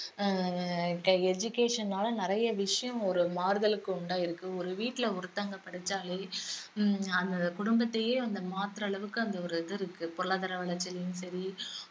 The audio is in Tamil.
அஹ் education னால நிறைய விஷயம் ஒரு மாறுதலுக்கு உண்டாயிருக்கு ஒரு வீட்ல ஒருத்தவங்க படிச்சாலே ஹம் அந்த குடும்பத்தையே வந்து மாத்துற அளவுக்கு அந்த ஒரு இது இருக்கு பொருளாதார வளர்ச்சியிலயும் சரி